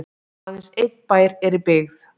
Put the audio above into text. aðeins einn bær er í byggð